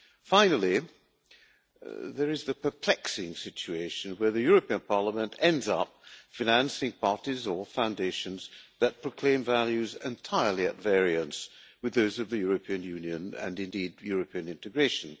Finally, there is the perplexing situation where the European Parliament ends up financing parties or foundations that proclaim values entirely at variance with those of the European Union and indeed European integration.